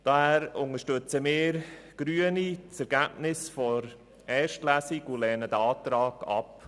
Daher unterstützt die grüne Fraktion das Ergebnis der ersten Lesung und lehnt diesen Antrag ab.